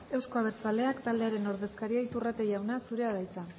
euzko abertzaleak taldearen ordezkaria iturrate jauna zurea da hitza